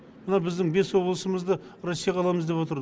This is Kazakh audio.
мына біздің бес облысымызды россияға аламыз деп отырды